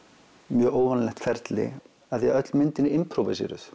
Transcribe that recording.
mjög óvanalegt ferli af því að öll myndin er